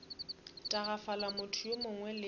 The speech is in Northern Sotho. tagafala motho yo mongwe le